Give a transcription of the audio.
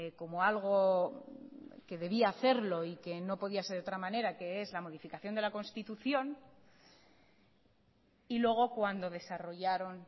como algo que debía hacerlo y que no podía ser de otra manera que es la modificación de la constitución y luego cuando desarrollaron